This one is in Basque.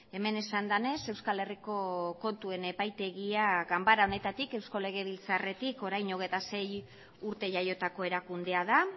hemen esan denez euskal herriko kontuen epaitegia ganbara honetatik eusko lege biltzarretik orain hogeita sei urte jaiotako erakundea da